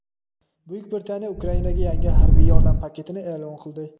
Buyuk Britaniya Ukrainaga yangi harbiy yordam paketini e’lon qildi.